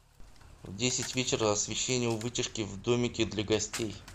в десять вечера освещение у вытяжки в домике для гостей